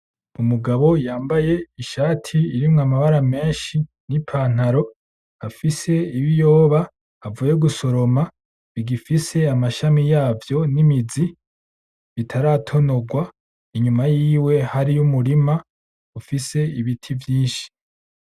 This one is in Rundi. Umugabo yambaye ishati irimwo amabara menshi n'ipantaro afise ibiyoba avuye gusoroma bigifise amashami yavyo n'imizi bitaratonorwa inyuma yiwe hariyo umurima ufise ibiti vyinshi.